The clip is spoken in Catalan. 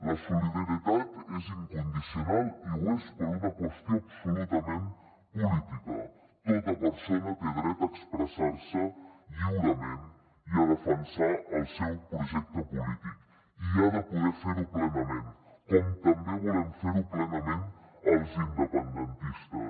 la solidaritat és incondicional i ho és per una qüestió absolutament política tota persona té dret a expressar se lliurement i a defensar el seu projecte polític i ha de poder fer ho plenament com també volem fer ho plenament els independentistes